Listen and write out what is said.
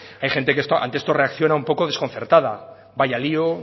hay gente que ante esta reacciona un poco desconcertada vaya lio